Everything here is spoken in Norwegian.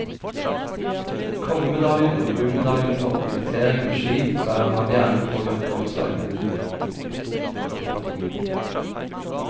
Kongemedaljen og gullmedaljene for orientering og ski bærer han gjerne på jakkeoppslaget. punktum